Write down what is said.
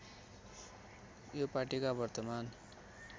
यो पार्टीका वर्तमान